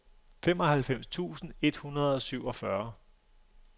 femoghalvfems tusind et hundrede og syvogfyrre